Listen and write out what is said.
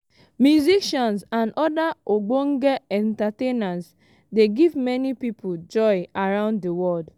musicians and oda ogbonge entertainers dey give many pipo joy around di world.